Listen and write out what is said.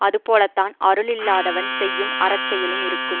அது போலத்தான் அருள் இல்லாதவன் செய்யும் அறச்செயலும் இருக்கும்